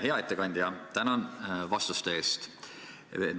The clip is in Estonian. Hea ettekandja, tänan vastuste eest!